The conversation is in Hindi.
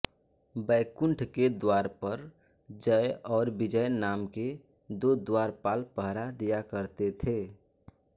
बैकुण्ठ के द्वार पर जय और विजय नाम के दो द्वारपाल पहरा दिया करते थे